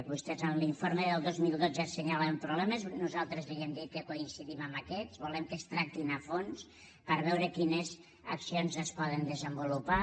vostès en l’informe del dos mil dotze assenyalaven problemes nosaltres li vam dir que coincidim amb aquests volem que es tractin a fons per veure quines accions es poden desenvolupar